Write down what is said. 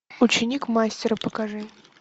ученик мастера покажи